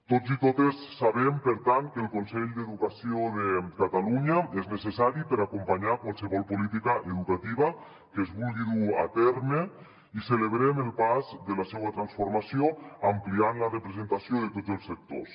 tots i totes sabem per tant que el consell d’educació de catalunya és necessari per acompanyar qualsevol política educativa que es vulgui dur a terme i celebrem el pas de la seua transformació ampliant la representació de tots els sectors